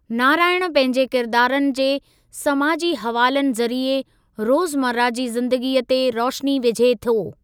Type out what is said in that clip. नारायणु पंहिंजे किरदारनि जे समाजी हवालनि ज़रिए रोज़मर्रा जी ज़िंदगीअ ते रोशनी विझे थो।